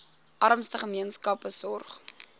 armste gemeenskappe sorg